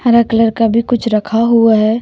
हरा कलर का भी कुछ रखा हुआ है।